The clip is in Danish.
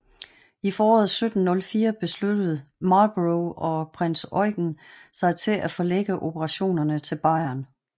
I foråret 1704 besluttede Marlborough og prins Eugen sig til at forlægge operationerne til Bayern